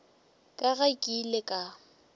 ka ge ke ile ka